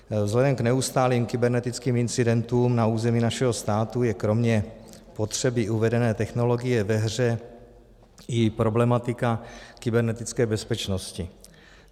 Vzhledem k neustálým kybernetickým incidentům na území našeho státu je kromě potřeby uvedené technologie ve hře i problematika kybernetické bezpečnosti.